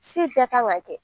bɛɛ kan ka kɛ.